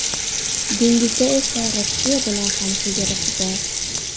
Dengizda esa Rossiya bilan ham chegarasi bor.